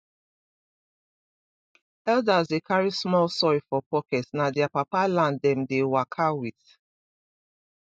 elders dey carry small soil for pocket na their papa land dem dey waka with